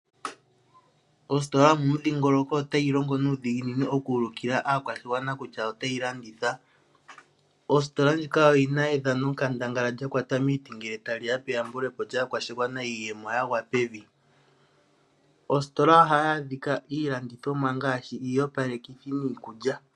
Ositola yomomudhiingoloko ota yi longo nuudhiginini oku ulukila aakwashigwana kutya ota yi landitha. Ositola ndjika oyi na edhanonkandangala lya kwata miiti, ngele ta li ya peyambule po lyaaskwashigwana yiiyemo ya gwa pevi. Ositola oha yi adhika iilongithomwa ngaashi, iiyopalekithi niikulya.